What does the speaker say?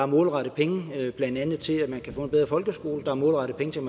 målrettet penge blandt andet til at man kan få en bedre folkeskole der er målrettet penge til